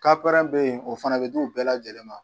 Kapɛrɛn bɛ ye o fana bɛ di u bɛɛ lajɛlen ma.